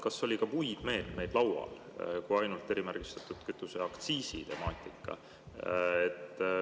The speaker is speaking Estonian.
Kas oli ka muid meetmeid laual kui ainult erimärgistatud kütuse aktsiisi temaatika?